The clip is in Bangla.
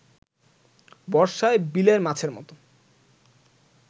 বর্ষায় বিলের মাছের মতো